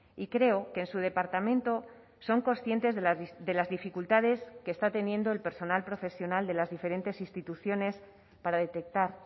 y creo que en su departamento son conscientes de las dificultades que está teniendo el personal profesional de las diferentes instituciones para detectar